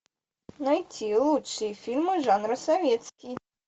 найти лучшие фильмы жанра советский